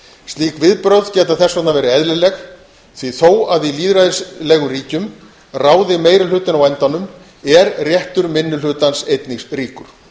slík viðbrögð geta þess vegna verið eðlileg því þó að í lýðræðislegum ríkjum ráði meiri hlutinn á endanum er réttur minni hlutans einnig ríkur